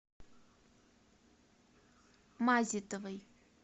мазитовой